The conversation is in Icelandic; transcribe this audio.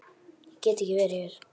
Ég get ekki verið hér.